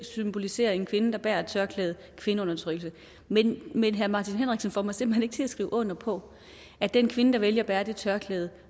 symboliserer en kvinde der bærer et tørklæde kvindeundertrykkelse men herre martin henriksen får mig simpelt hen ikke til at skrive under på at den kvinde der vælger at bære det tørklæde